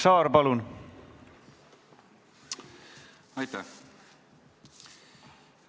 Aitäh!